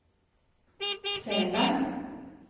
Seland